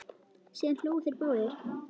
Síðan hlógu þeir báðir.